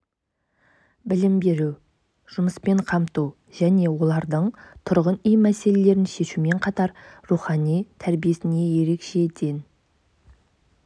білім беру жұмыспен қамту және олардың тұрғын үй мәселелерін шешумен қатар рухани тәрбиесіне ерекше ден